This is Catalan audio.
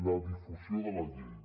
la difusió de la llei